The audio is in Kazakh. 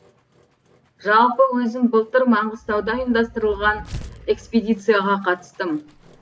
жалпы өзім былтыр маңғыстауда ұйымдастырылған экспедицияға қатыстым